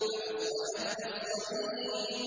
فَأَصْبَحَتْ كَالصَّرِيمِ